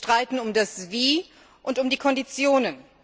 Wir streiten um das Wie und die Konditionen.